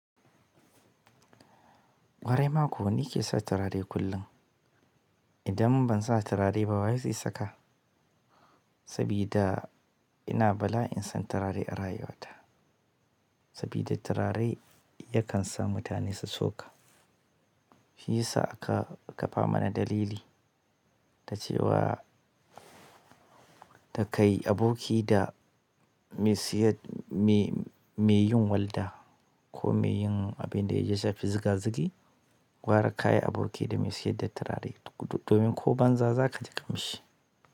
Ƙwarai ma ko ni ke sa turare kullum. Idan bansa turare ba waye zai sa sabida turare yakan sa mutane su tsoka. Shi yasa aka ƙafa mana dalili ta cewa da kai aboki da mai sayar, me, mai yin walda ko mai yin abin da ya ji ya fi zuga zugi, gwara ka yi aboki da mai sayar da turare domin ko banza za ka ji ƙamshi.